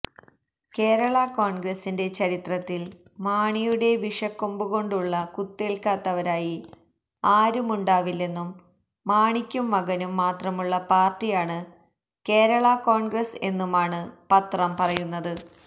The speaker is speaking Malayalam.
കേരളാ കോണ്ഗ്രസിന്റെ ചരിത്രത്തില് മാണിയുടെ വിഷക്കൊമ്പുകൊണ്ടുള്ള കുത്തേല്ക്കാത്തവരായി ആരുമുണ്ടാവില്ലെന്നും മാണിക്കും മകനും മാത്രമുള്ള പാര്ട്ടിയാണ് കേരളാകോണ്ഗ്രസ് എന്നുമാണ് പത്രം പറയുന്നത്